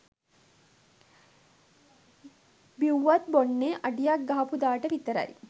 බිවුවත් බොන්නෙ අඩියක් ගහපුදාට විතරයි